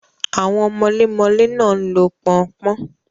Àwọn mọlémọlé náà ń lo pọn-n-pọ́n.